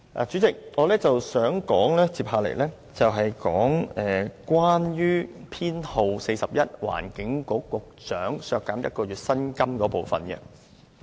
主席，我接下來想說修正案編號 41， 削減環境局局長1個月薪金的部分。